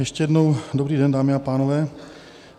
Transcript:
Ještě jednou dobrý den, dámy a pánové.